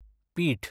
पीठ